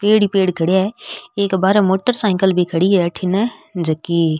पेड़ ही पेड़ खड़िया है एक बाहर मोटर सायकिल भी खड़ी है अठीने जेकी --